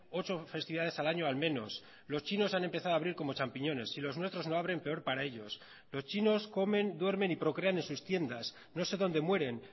ocho festividades al año al menos los chinos han empezado a abrir como champiñones si los nuestros no abren peor para ellos los chinos comen duermen y procrean en sus tiendas no sé dónde mueren